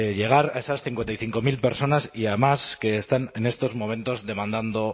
llegar a esas cincuenta y cinco mil personas y además que están en estos momentos demandando